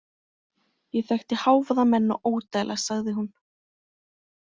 Ég þekkti hávaðamenn og ódæla, sagði hún.